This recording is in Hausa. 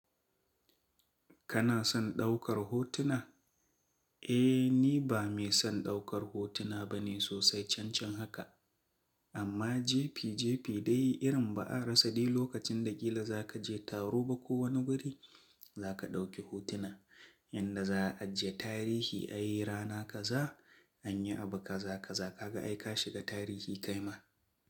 Kana son ɗaukar hotuna? Eh, ni ba mai son ɗaukar hotuna bane sosai cancan haka. Amma jebi jebi dai irin ba'a rasa dai lokacin da ƙila za ka je taro ba ko wani wuri za ka ɗauki hotuna. Yanda za a ajiye tarihi ai rana kaza anyi abu kaza kaza ka ga aika shiga tarihi kaima.